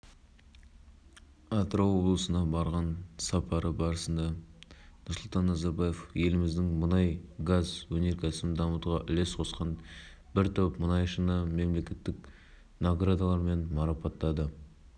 айта кетейік головкин алдағы жылдың наурыз айында жекпе-жек өткізуді жоспарлап отыр мәліметтерге сәйкес қарсыласы америкалық дэниэл джейкобс болуы мүмкін